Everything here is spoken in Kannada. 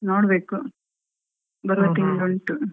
ನೋಡ್ಬೇಕು ಬರುವ ತಿಂಗ್ಳು ಉಂಟು.